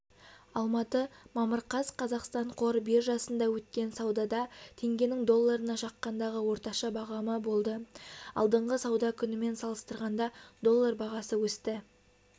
алматы мамыр қаз қазақстан қор биржасында өткен саудада теңгенің долларына шаққандағы орташа бағамы болды алдыңғы сауда күнімен салыстырғанда доллар бағасы өсті